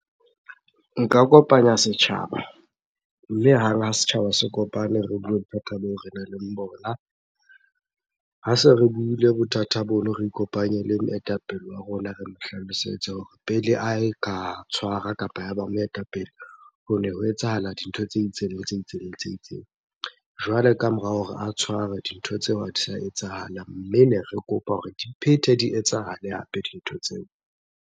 Nka kopanya setjhaba. Mme hang ha setjhaba se kopane, re bue bothata boo re nang le bona. Ha se re buile bothata bono. Re ikopanye le moetapele wa rona, re mo hlalosetse hore pele ae ka tshwara kapa ya ba moetapele, hone ho etsahala dintho tse itseng, le tse itseng, le tse itseng. Jwale ka morao hore a tshwarwe, dintho tseo ha di sa etsahala. Mme ne re kopa hore di phete di etsahale hape dintho tseo.